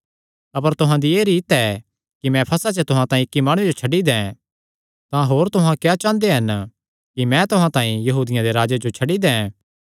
अपर तुहां दी एह़ रीत ऐ कि मैं फसह च तुहां तांई इक्की माणुये जो छड्डी दैं तां होर तुहां क्या चांह़दे हन कि मैं तुहां तांई यहूदियां दे राजे जो छड्डी दैं